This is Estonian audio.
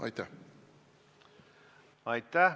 Aitäh!